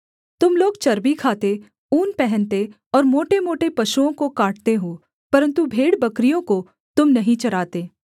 तुम लोग चर्बी खाते ऊन पहनते और मोटेमोटे पशुओं को काटते हो परन्तु भेड़बकरियों को तुम नहीं चराते